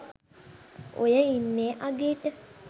ඔය ඉන්නේ අගේට